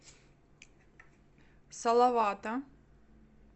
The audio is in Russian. салавата